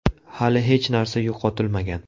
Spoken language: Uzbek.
Hali hech narsa yo‘qotilmagan.